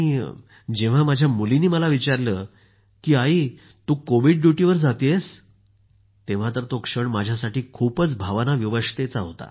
जेंव्हा माझी मुलगी मला म्हणाली ममा आप कोविड ड्युटीवर जा रहे हो तेंव्हा तो क्षण माझ्यासाठी खूपच भावनिक होता